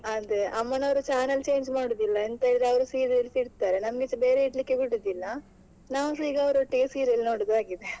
ಅದೇ ಅಮ್ಮನವರು channels change ಮಾಡುದಿಲ್ಲ ಎಂತ ಇದ್ರೂ ಅವ್ರು serials ಇಡ್ತಾರೆ ನಮ್ಗೆ ಸಾ ಬೇರೆ ಇಡ್ಲಿಕ್ಕೆ ಬಿಡುದಿಲ್ಲ ನಾವು ಸ ಈಗ ಅವರೊಟ್ಟಿಗೆ serial ನೋಡುದು ಆಗಿದೆ.